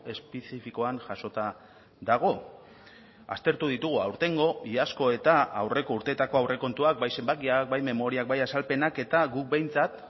espezifikoan jasota dago aztertu ditugu aurtengo iazko eta aurreko urteetako aurrekontuak bai zenbakiak bai memoriak bai azalpenak eta guk behintzat